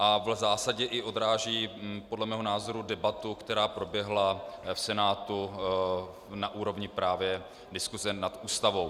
A v zásadě i odráží podle mého názoru debatu, která proběhla v Senátu na úrovni právě diskuse nad Ústavou.